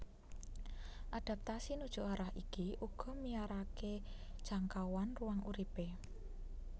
Adaptasi nuju arah iki uga miyaraké jangkauan ruang uripé